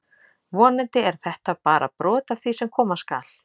Vonandi er þetta bara brot af því sem koma skal!